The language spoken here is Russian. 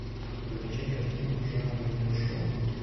закачай картину жанра видеошоу